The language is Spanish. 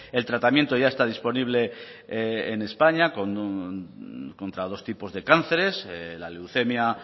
el tratamiento ya está disponible en españa contra dos tipos de cánceres la leucemia